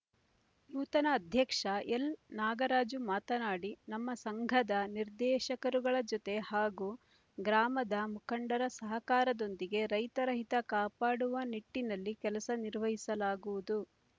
ನೂತನ ಅಧ್ಯಕ್ಷ ಎಲ್ ನಾಗರಾಜು ಮಾತನಾಡಿ ನಮ್ಮ ಸಂಘದ ನಿರ್ದೇಶಕರುಗಳ ಜತೆ ಹಾಗೂ ಗ್ರಾಮದ ಮುಖಂಡರ ಸಹಕಾರದೊಂದಿಗೆ ರೈತರ ಹಿತ ಕಾಪಾಡುವ ನಿಟ್ಟಿನಲ್ಲಿ ಕೆಲಸ ನಿರ್ವಹಿಸಲಾಗುವುದು